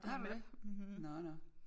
Har du det? Nåh nå